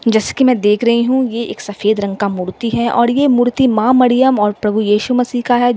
जैसे कि मैं देख रही हूं ये एक सफेद रंग का मूर्ति है और ये मूर्ति मां मरियम और प्रभु यीशु मसीह का है।